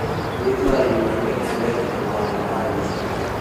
Gwitũ arĩmi aingĩ mendete kũhanda kabici